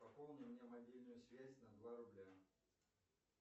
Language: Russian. пополни мне мобильную связь на два рубля